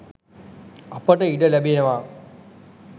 අපට ඉඩ ලැබෙනවා.